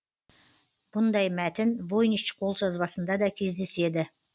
бұндай мәтін войнич қолжазбасында да кездеседі